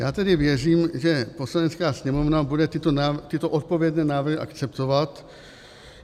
Já tedy věřím, že Poslanecká sněmovna bude tyto odpovědné návrhy akceptovat.